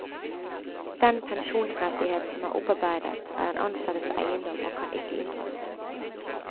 Den pensjonsrettighet som er opparbeidet, er den ansattes eiendom og kan ikke inndras.